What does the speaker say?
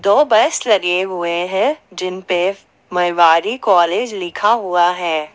दो बस लगे हुए हैं जिन पे मैंवारी कॉलेज लिखा हुआ है।